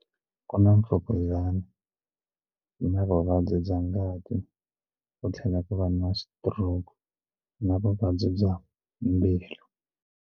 Ku na yi na vuvabyi bya ngati ku tlhela ku va na stroke na vuvabyi bya mbilu.